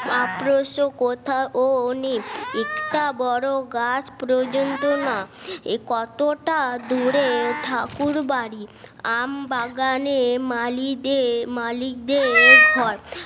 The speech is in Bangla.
অপ্রশ কথা অনেক একটা বড় গাছ পর্যন্ত না এ কতটা দূরে ঠাকুরবাড়ির আম বাগানে মালিতে মালিকদের ঘর